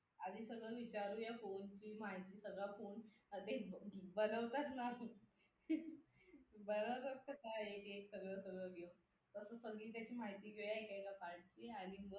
आधी सगळं विचारूया फोनची माहिती सगळं फोन हा तेच घेऊ बरोबर ना बरोबरच काय एकेक सगळं सगळं घेऊ फक्त त्याची माहिती घेऊ एका एका part ची आणि मग